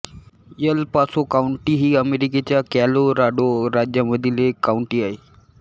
L Paso county ही अमेरिकेच्या Colorado राज्यामधील एक काउंटी आहे